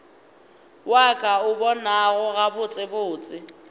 wa ka o bonago gabotsebotse